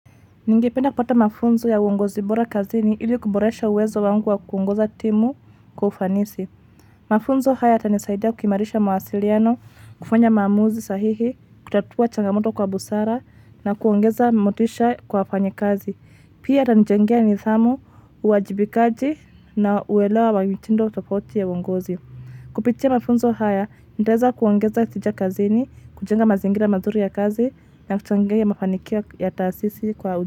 Ningependa kupata mafunzo ya uongozi bora kazini ili kuboresha uwezo wangu wa kuongoza timu kwa ufanisi. Mafunzo haya yatanisaidia kukimarisha mawasiliano, kufanya maamuzi sahihi, kutatua changamoto kwa busara na kuongeza motisha kwa wafanyi kazi. Pia atanijengea nidhamu, uwajibikaji na uelewa wa mitindo tofauti ya uongozi. Kupitia mafunzo haya, nitaeza kuongeza tija kazini, kujenga mazingira mazuri ya kazi na kuchangia ya mafanikio ya taasisi kwa.